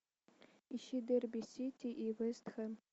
ищи дерби сити и вест хэм